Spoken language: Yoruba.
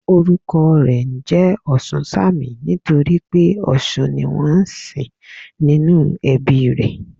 Orúkọ rè njé Òsúnsanmí nítorí pé òsun ni wón nsìn nínú ẹbí i rè